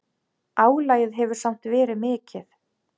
Álagið hefur samt verið mikið.